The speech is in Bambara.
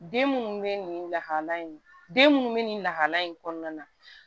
Den munnu be nin lahala in den munnu be nin lahalaya in kɔnɔna na